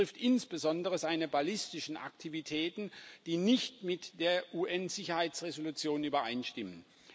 Dies betrifft insbesondere seine ballistischen Aktivitäten, die nicht mit der UN Sicherheitsresolution übereinstimmen.